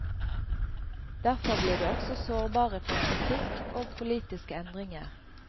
Derfor blir de også sårbare for kritikk og politiske endringer.